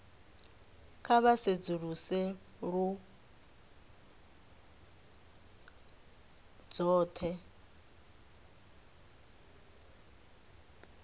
kha vha sedzuluse lounu dzothe